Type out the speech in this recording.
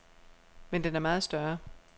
Men den er meget større.